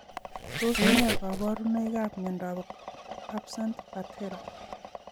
Tos ne kaborunoikab miondop absent patella?